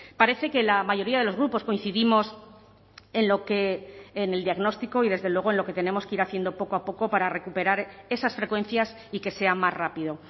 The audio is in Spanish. parece que la mayoría de los grupos coincidimos en lo que en el diagnóstico y desde luego en lo que tenemos que ir haciendo poco a poco para recuperar esas frecuencias y que sea más rápido